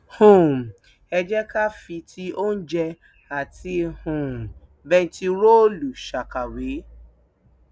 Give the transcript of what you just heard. um ẹ jẹ ká fi ti oúnjẹ àti um bẹntiróòlù ṣàkàwé